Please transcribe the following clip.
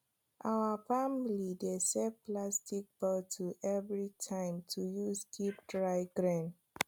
our family dey save plastic bottle every time to use keep dry grain